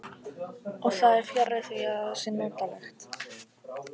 Og það er fjarri því að það sé notalegt.